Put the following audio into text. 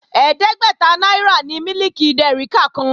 Ẹ̀ẹ́dẹ́gbẹ́ta náírà ni mílìkì dèríkà kan